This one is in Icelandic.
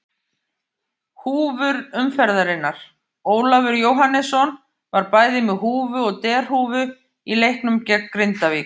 Húfur umferðarinnar: Ólafur Jóhannesson var bæði með húfu og derhúfu í leiknum gegn Grindavík.